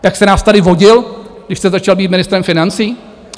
Jak jste nás tady vodil, když jste začal být ministrem financí?